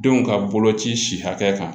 Denw ka boloci si hakɛ kan